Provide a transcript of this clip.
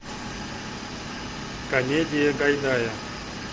комедия гайдая